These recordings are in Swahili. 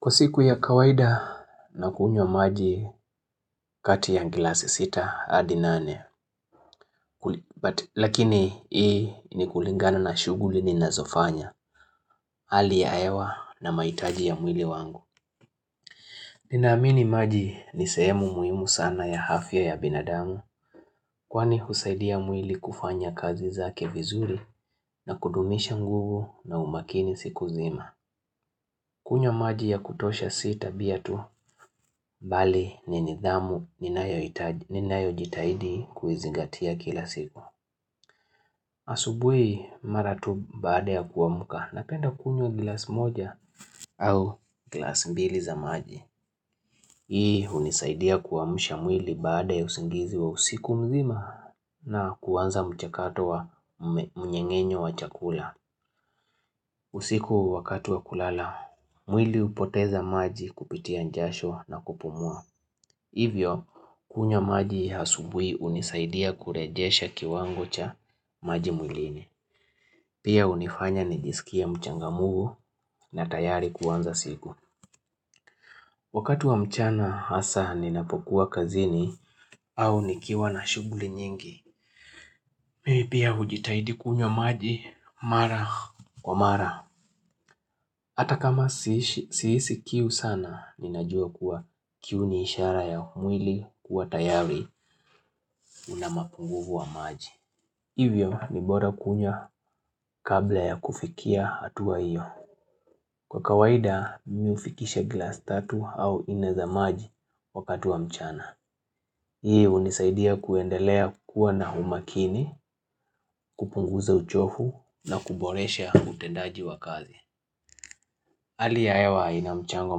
Kwa siku ya kawaida na kunywa maji kati ya glasi sita adi nane, lakini hii ni kulingana na shughuli ni nazofanya hali ya hewa na maitaji ya mwili wangu. Ninaamini maji ni sehemu muhimu sana ya hafya ya binadamu kwani husaidia mwili kufanya kazi zake vizuri na kudumisha nguvu na umakini siku zima. Kunyo maji ya kutosha sita biatu, bali ni nidhamu ni nayo jitaidi kuizingatia kila siku. Asubui mara tu baada ya kuamuka napenda kunyo glas moja au glas mbili za maji. Hii unisaidia kuamusha mwili baada ya usingizi wa usiku mzima na kuwanza mchakato wa mnyengenyo wa chakula. Usiku wakatu wa kulala, mwili upoteza maji kupitia njasho na kupumua. Hivyo, kunyo maji asubui unisaidia kurejesha kiwango cha maji mwilini. Pia unifanya nijisikia mchangamfu na tayari kuanza siku. Wakatu wa mchana hasa ninapokuwa kazini au nikiwa na shuguli nyingi. Mi pia hujitahidi kunywa maji mara. Kwa mara, ata kama sihisi kiu sana, ninajua kuwa kiu ni ishara ya mwili kuwa tayari una mapunguvu wa maji. Hivyo ni boda kunywa kabla ya kufikia hatuwa iyo. Kwa kawaida, mi hufikishe glass tatu au nne za maji wakatu wa mchana. Hii unisaidia kuendelea kuwa na humakini, kupunguza uchofu na kuboresha utendaji wa kazi. Hali ya hewa ina mchango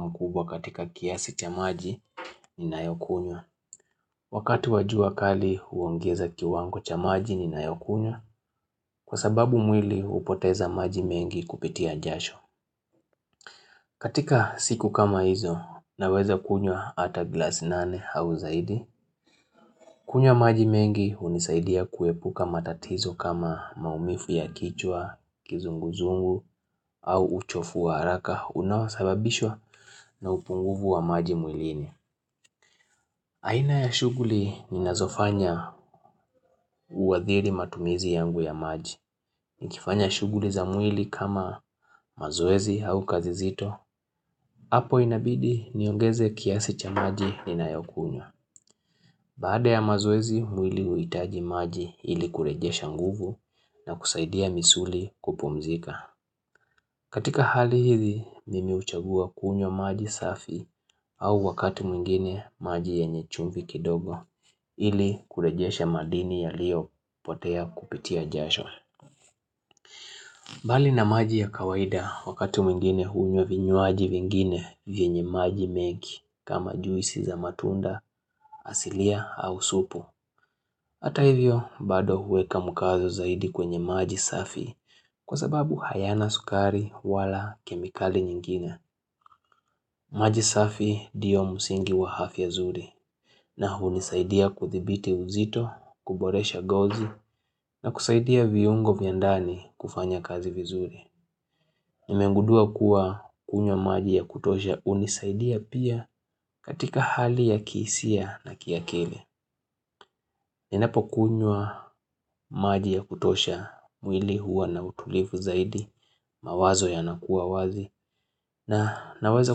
mkubwa katika kiasi cha maji ni nayo kunywa Wakati wa jua kali huongeza kiwango cha maji ni nayo kunywa kwa sababu mwili hupoteza maji mengi kupitia jasho. Katika siku kama hizo naweza kunyo ata glass nane au zaidi. Kunywa maji mengi unisaidia kuepuka matatizo kama maumifu ya kichwa, kizunguzungu au uchofu wa haraka. Unaosababishwa na upunguvu wa maji mwilini. Aina ya shuguli ni nazofanya uwa thiri matumizi yangu ya maji. Ni kifanya shughuli za mwili kama mazoezi au kazi zito. Apo inabidi niongeze kiasi cha maji ninayokunyo. Baada ya mazoezi, mwili huhitaji maji ili kurejesha nguvu na kusaidia misuli kupumzika. Katika hali hizi, mimi huchagua kunyo maji safi au wakati mwingine maji yenye chumvi kidogo ili kurejesha madini ya lio potea kupitia jashwa. Bali na maji ya kawaida wakati mwingine hunye vinyuaji vingine vienye maji memgi kama juisi za matunda asilia au supu. Hata hivyo bado huweka mkazo zaidi kwenye maji safi kwa sababu hayana sukari wala kemikali nyingine. Maji safi diyo musingi wa hafi ya zuri na unisaidia kuthibiti uzito, kuboresha gozi na kusaidia viungo vya ndani kufanya kazi vizuri. Nimengudua kuwa kunywa maji ya kutosha unisaidia pia katika hali ya kihisia na kiakili Ninapo kunywa maji ya kutosha mwili huwa na utulifu zaidi mawazo ya nakuwa wazi na naweza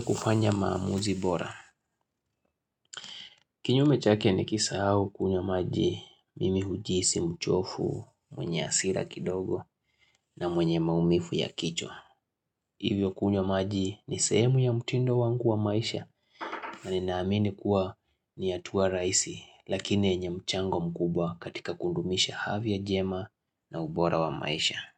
kufanya maamuzi bora. Kinyume chake nikisahau kunywa maji mimi hujisi mchofu mwenye hasira kidogo na mwenye maumifu ya kichwa Kwa siku ya kawaida na kunywa maji kati ya ngila sita hadi nane, lakini hii ni kulingana na shuguli ninazofanya hali ya hewa na maitaji ya mwili wangu.